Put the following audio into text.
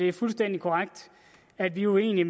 det er fuldstændig korrekt at vi er uenige